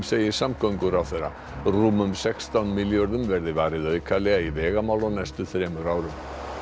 segir samgönguráðherra rúmum sextán milljörðum verði varið aukalega í vegamál á næstu þremur árum